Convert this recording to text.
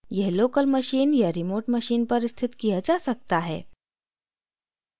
यह local machine या remote machine पर स्थित किया जा सकता है